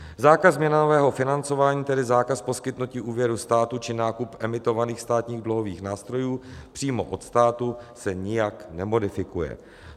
Zákaz měnového financování, tedy zákaz poskytnutí úvěru státu či nákup emitovaných státních dluhových nástrojů přímo od státu, se nijak nemodifikuje.